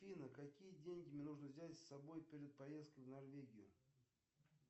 афина какие деньги мне нужно взять с собой перед поездкой в норвегию